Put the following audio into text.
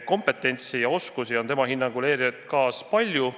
Kompetentsi ja oskusi on tema hinnangul ERJK-s palju.